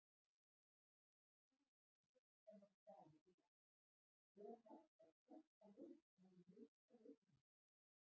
Fyrirspurnum sem var svarað í dag:- Er hægt að fresta leik vegna meiðsla leikmanna?